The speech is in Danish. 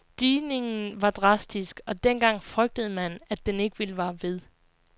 Stigningen var drastisk, og dengang frygtede man, at den ikke ville vare ved.